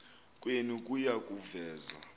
kwenu kuya kuveza